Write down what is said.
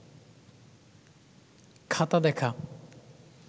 খাতা দেখা